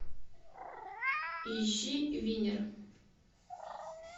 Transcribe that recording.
ищи винер